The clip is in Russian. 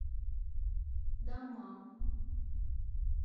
даммам